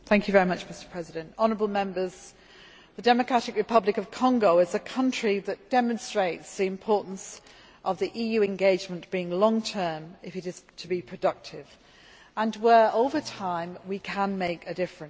Mr President, honourable Members, the Democratic Republic of Congo is a country that demonstrates the importance of the EU engagement being long term, if it is to be productive, and where over time we can make a difference.